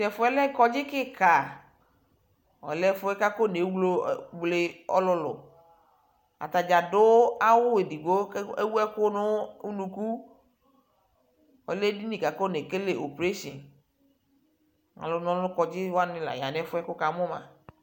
Tʊ ɛfʊ yɛ lɛ ɔgbadza kika, ɔlɛ ɛfʊ yɛ kʊ afɔ newlo alʊ, dokta wanɩ adʊ awu edigbo, kʊ akɔ ɛkʊdʊ nʊ unuku, ɔlɛ edini bua kʊ afɔnekele operation, alʊ na ɔlʊ nʊ ɔgbadza nɩ la ya nʊ ɛfʊ yɛ kʊ wukamʊ ma